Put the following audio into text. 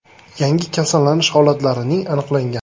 Yangi kasallanish holatlarining aniqlangan.